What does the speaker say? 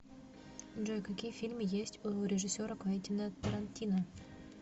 джой какие фильмы есть у режиссера квентина торантино